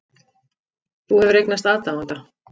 Þú hefur eignast aðdáanda.